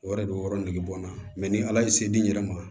O yɛrɛ de b'o yɔrɔ nege bɔ n na ni ala ye se di n yɛrɛ ma